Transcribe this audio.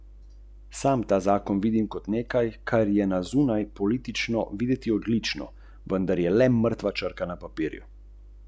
Smo z občutljivostjo na pekoče rojeni ali lahko brbončice natreniramo?